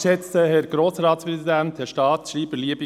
Wir haben es gehört: